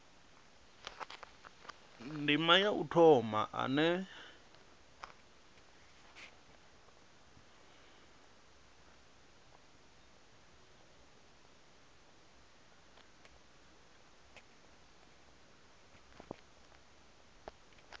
ndima ya u thoma ane